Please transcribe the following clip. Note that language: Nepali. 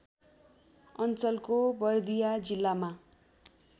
अञ्चलको बर्दिया जिल्लामा